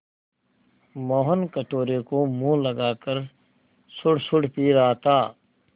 मोहन कटोरे को मुँह लगाकर सुड़सुड़ पी रहा था